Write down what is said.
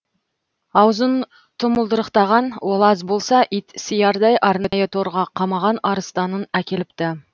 аузын тұмылдырықтаған ол аз болса ит сиярдай арнайы торға қамаған арыстанын әкеліпті